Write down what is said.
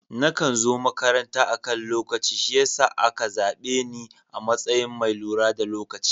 Nakan zo makaranta akan lokaci shi yasa a ka zaɓe ni a matsayin mai lura da lokaci.